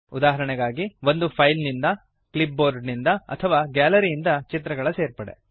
ಉದಾಹರಣೆಗಾಗಿ ಒಂದು ಫೈಲ್ ನಿಂದ ಕ್ಲಿಪ್ ಬೋರ್ಡ್ ನಿಂದ ಅಥವಾ ಗ್ಯಾಲರಿಯಿಂದ ಚಿತ್ರಗಳ ಸೇರ್ಪಡೆ